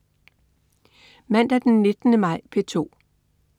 Mandag den 19. maj - P2: